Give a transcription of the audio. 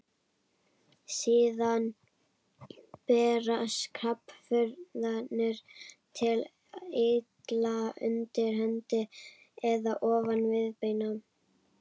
Síðan berast krabbafrumurnar til eitla undir hendi eða ofan viðbeina.